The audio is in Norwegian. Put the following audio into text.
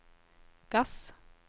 gass